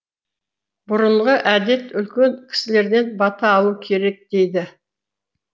бұрынғы әдет үлкен кісілерден бата алу керек дейді